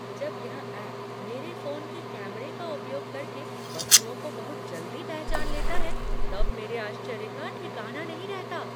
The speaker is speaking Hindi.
जब यह ऐप मेरे फोन के कैमरे का उपयोग करके वस्तुओं को बहुत जल्दी पहचान लेता है तब मेरी आश्चर्य का ठिकाना नहीं रहता।